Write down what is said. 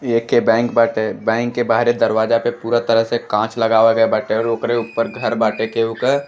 एके बैंक बाटे बैंक के बहरे दरवाज़ा पे पूरा तरह से काँच लगावल गया बाटे और ओकरे ऊपर घर बाटे केहू का।